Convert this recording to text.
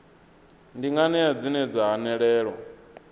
ndi nganea dzine dza hanelelwa